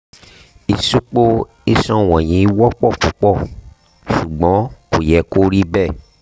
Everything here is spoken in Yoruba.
ìsupo iṣan wọ̀nyí wọ́pọ̀ púpọ̀ ṣùgbọ́n kò yẹ kí ó rí bẹ́ẹ̀